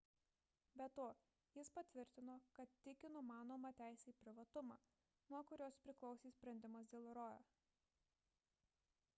be to jis patvirtino kad tiki numanoma teise į privatumą nuo kurios priklausė sprendimas dėl roe